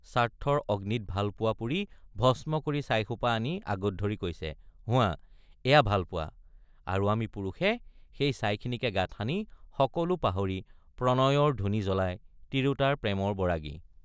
স্বাৰ্থৰ অগ্নিত ভাল পোৱা পুৰি ভস্ম কৰি ছাইসোপা আনি আগত ধৰি কৈছে হোৱা এয়া ভাল পোৱা আৰু আমি পুৰুষে সেই ছাইখিনিকে গাত সানি সকলো পাহৰি প্ৰণয়ৰ ধুনী জ্বলাই—তিৰোতাৰ প্ৰেমৰ বৰাগী।